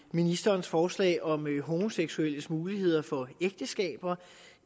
ministerens forslag om homoseksuelles muligheder for ægteskab